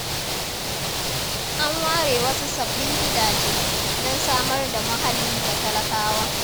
An ware wasu sabbin gidaje, don samar da muhalli ga talakawa.